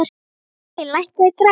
Elín, lækkaðu í græjunum.